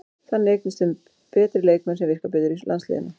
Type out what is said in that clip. Þannig eignumst við betri leikmenn sem virka betur í landsliðinu.